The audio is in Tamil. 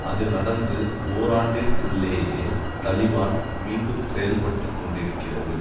அது நடந்து ஓராண்டிற்குள்ளேயே தலிபான் மீண்டும் செயல்பட்டு கொண்டிருக்கிறது